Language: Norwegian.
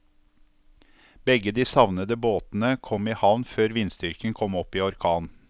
Begge de savnede båtene kom i havn før vindstyrken kom opp i orkan.